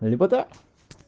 лепота